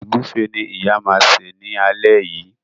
Egufe ní ìyá ma ṣe ní alé yí.